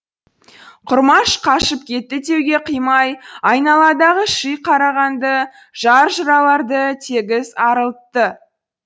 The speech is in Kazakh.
құрмаш қашып кетті деуге қимай айналадағы ши қарағанды жар жыраларды тегіс арылтты